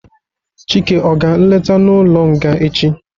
Chike ọ ga nleta n'ụlọ nga echi?